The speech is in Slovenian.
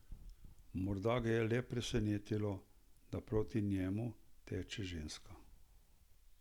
Morda ga je le presenetilo, da proti njemu teče ženska.